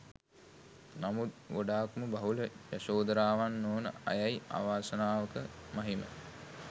නමුත් ගොඩාක්ම බහුල යශෝධරාවන් නොවන අයයි අවාසනාවක මහිම